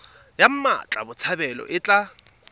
ya mmatla botshabelo e tla